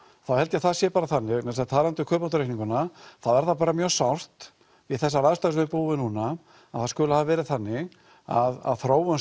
þá held ég það sé bara þannig talandi um kaupmáttaraukninguna þá er það mjög sárt við þessar aðstæður sem við búum við núna að það skuli hafa verið þannig að þróun